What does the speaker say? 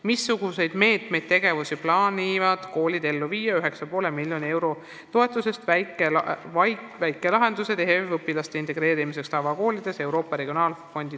Missuguseid meetmeid, tegevusi plaanivad koolid ellu viia 9,5 milj eurot toetusest "Väikelahendused HEV õpilaste integreerimiseks tavakoolidesse"? .